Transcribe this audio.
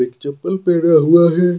एक चप्पल पहना हुआ है।